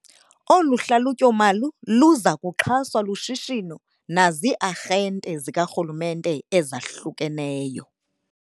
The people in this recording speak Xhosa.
Olu hlalutyomali luza kuxhaswa lushishino nazii-arhente zikarhulumnte ezahlukeneyo .